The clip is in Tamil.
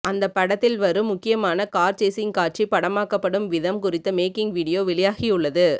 அந்த படத்தில் வரும் முக்கியமான கார் சேசிங் காட்சி படமாக்கப்படும் விதம் குறித்த மேக்கிங் வீடியோ வெளியாகியுள்ளது